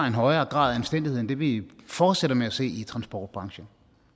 en højere grad af anstændighed end det vi fortsætter med at se i transportbranchen